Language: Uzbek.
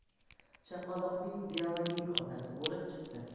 chaqaloqning biologik otasi bo‘lib chiqdi.